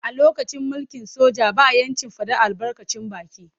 A lokacin mulkin soja ba ‘yancin fadar albarkacin baki.